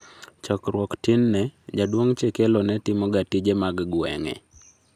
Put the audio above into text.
Chackruok tin ne, jaduong' chekelo netimo ga tije mag gweng'e